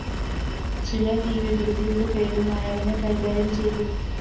ചിലര്‍ ഈ വികൃതിയുടെ പേരില്‍ നായകനെ കൈകാര്യം ചെയ്തു